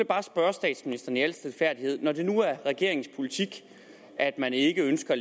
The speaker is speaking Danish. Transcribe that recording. bare spørge statsministeren i al stilfærdighed når det nu er regeringens politik at man ikke ønsker at